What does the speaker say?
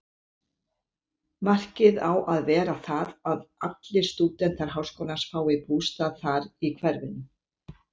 Markið á að vera það, að allir stúdentar háskólans fái bústað þar í hverfinu.